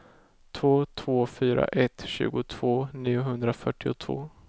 två två fyra ett tjugotvå niohundrafyrtiotvå